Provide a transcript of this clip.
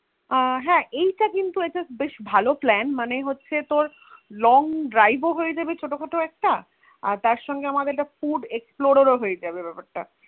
আহ হ্যা এইটা তো কিন্তু একটা বেশ ভালো Plan মানে হচ্ছে তোর Long drive হয়েযাবে ছোট খাটো একটা আর তার সঙ্গে আমাদের একটা Food explore ও হয়ে যাবে বেপার টা